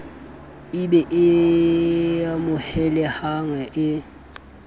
e be e amohelehang e